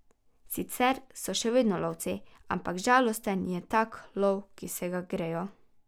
Sicer so še vedno lovci, ampak žalosten je tak lov, ki se ga grejo.